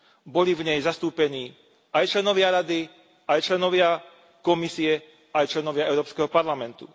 Boli v nej zastúpení aj členovia Rady, aj členovia Komisie, aj členovia Európskeho parlamentu.